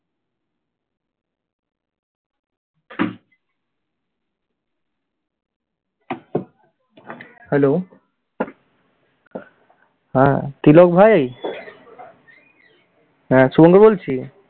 hello হ্যাঁ, তিলক ভাই হ্যাঁ শুভঙ্কর বলছি।